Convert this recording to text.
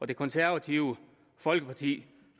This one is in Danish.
det konservative folkeparti